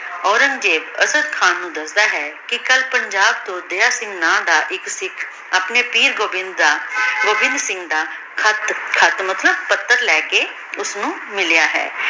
ਔਰੇਨ੍ਗ੍ਜ਼ੇਬ ਅਸਾਡ ਖਾਨ ਨੂ ਦਸਦਾ ਹੈ ਕੇ ਕਲ ਪੰਜਾਬ ਤੋਂ ਡੇਰਾ ਸਿੰਘ ਨਾਮ ਦਾ ਏਇਕ ਸਿਖ ਅਪਨੀ ਪੀਰ ਗੋਵਿੰਦ ਦਾ ਗੋਵਿਨ੍ਧ ਸਿੰਘ ਦਾ ਖ਼ਤ ਖ਼ਤ ਮਤਲਬ ਪਾਤਰ ਲੇ ਕੇ ਓਸਨੂ ਮਿਲਯਾ ਹੈ